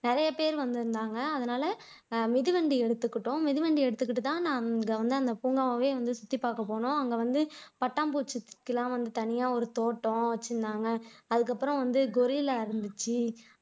நிறையப்பேர் வந்திருந்தாங்க அதனால மிதிவண்டி எடுத்துகிட்டோம் மிதிவண்டி எடுத்துகிட்டுதான் நான் அங்க வந்து அந்த பூங்காவையே சுத்திபாக்க போனோம் அங்க வந்து பட்டாம்பூச்சிக்கெல்லாம் வந்து தனியா ஒரு தோட்டம் வைச்சிருந்தாங்க அதுக்கப்புறம் வந்து கொரில்லா இருந்துச்சு